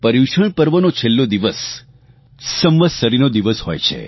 પર્યુષણ પર્વનો છેલ્લો દિવસ સંવત્સરીનો દિવસ હોય છે